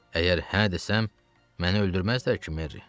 Əgər hə desəm, məni öldürməzlər ki, Merri?